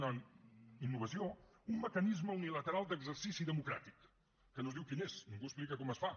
una innovació un mecanisme unilateral d’exercici democràtic que no es diu quin és ningú explica com es fa